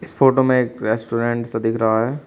इस फोटो में एक रेस्टोरेंट सा दिख रहा है।